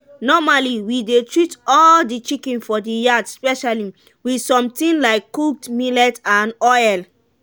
normally we dey treat all the chicken for the yard specially with something like cooked millet and oil.